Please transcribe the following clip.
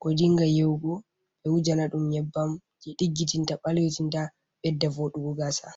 ko dinga yewugo ɓe wuja na ɗum nyebbam jei ɗiggititta ɓalwitinta ɓedda vodugo gaasa.